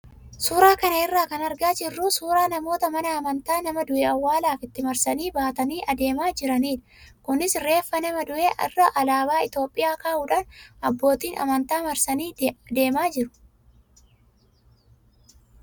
Suuraa kana irraa kan argaa jirru suuraa namoota mana amantaa nama du'e awwaalaaf itti marsanii baatanii adeemaa jiranidha. Kunis reeffa nama du'ee irra alaabaa Itoophiyaa kaa'uudhaan abbootiin amantaa marsanii adeemaa jiru.